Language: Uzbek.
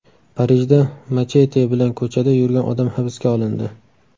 Parijda machete bilan ko‘chada yurgan odam hibsga olindi.